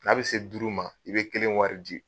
N'an be se duuru ma, i be kelen wari di.